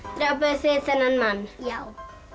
þið þennan mann já